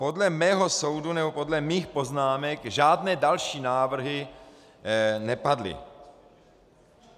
Podle mého soudu, nebo podle mých poznámek, žádné další návrhy nepadly.